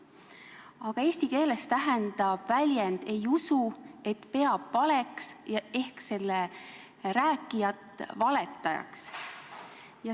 Aga eesti keeles tähendab väljend "ei usu", et seda peetakse valeks ehk selle rääkijat valetajaks.